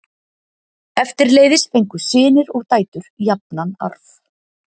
Eftirleiðis fengu synir og dætur jafnan arf.